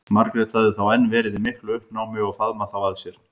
Margrét hafði þá enn verið í miklu uppnámi og faðmað þá að sér.